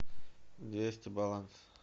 двести баланс